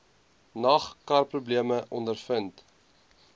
nag karprobleme ondervind